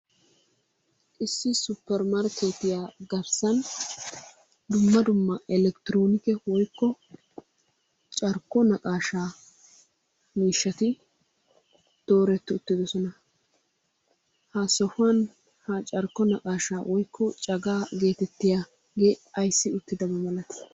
Issi suppermrkketiya garssan dumma dumma eletronike woykko carkko naqashsha miishshati dooreti uttidoosona. Ha sohuwan ha carkko naqaashsha woykko cagaa getettiuaage ayssi uttidaba malalti?